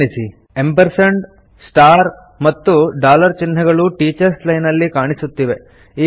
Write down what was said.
ಗಮನಿಸಿ ಆ್ಯಂಪ್ ಮತ್ತು ಚಿಹ್ನೆಗಳು ಟೀಚರ್ಸ್ ಲೈನ್ ನಲ್ಲಿ ಕಾಣಿಸುತ್ತಿವೆ